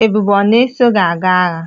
Ebube a na-eso gi aga agha?